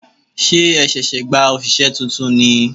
Ṣé ẹ ṣẹ̀ṣẹ̀ gba òṣìṣẹ́ tuntun ni?